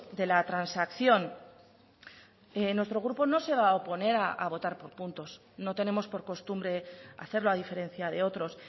de la transacción nuestro grupo no se va a oponer a votar por puntos no tenemos por costumbre hacerlo a diferencia de otros